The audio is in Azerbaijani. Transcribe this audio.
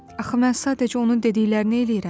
Axı mən sadəcə onun dediklərini eləyirəm.